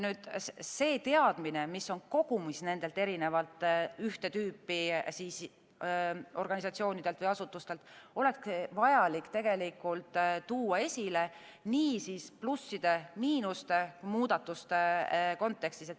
See teadmine, mis on kogunenud nendelt erinevatelt ühte tüüpi organisatsioonidelt või asutustelt, oleks vajalik tuua esile nii plusside-miinuste kui ka muudatuste kontekstis.